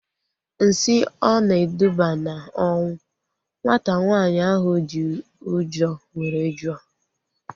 Nsị ọ na-eduba na ọnwụ? Nwata nwaanyị ahu ji ụjọ were jụọ